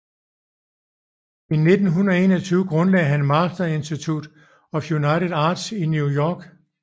I 1921 grundlagde han Master Institute of United Arts i New York